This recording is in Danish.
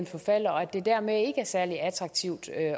forfalder og at det dermed ikke er særlig attraktivt at